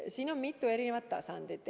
Siin on mitu tasandit.